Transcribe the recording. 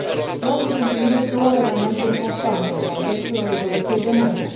Vreau să subliniez două elemente importante în contextul rezoluției de mâine.